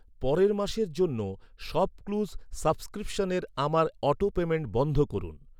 পরের মাসের জন্য শপক্লুজ সাবস্ক্রিপশনের আমার অটোপেমেন্ট বন্ধ করুন।